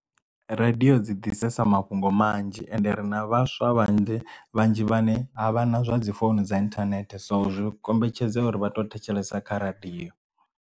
Radio dzi ḓisesa mafhungo manzhi ende ri na vhaswa vhanzhi vhanzhi vhane avha na zwa dzi founu dza inthanethe so zwi kombetshedza uri vha to thetshelesa kha radio.